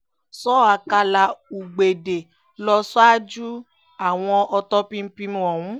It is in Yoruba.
sọ ọ̀kàlà ugbẹ̀dẹ ló ṣáájú àwọn ọ̀tọ̀pinpin ọ̀hún